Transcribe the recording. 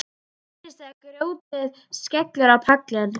Það heyrist þegar grjótið skellur á pallinn.